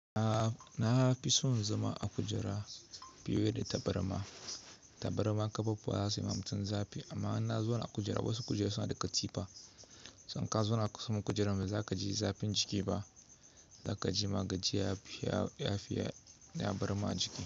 Na fi son zama a kujera fiye da tabarma. Tabarma ƙafafuwa za su yi ma mutum zafi amma in na zauna a kujera, wasu kujeru suna da katifa, sannan ka zauna kusan kujerar ba za ka ji zafin jiki ba, za ka ji magajiya, lafiya da ya barma jiki.